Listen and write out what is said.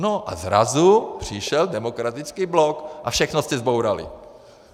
No a zrazu přišel Demokratický blok a všechno jste zbourali.